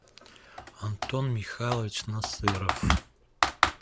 антон михайлович насыров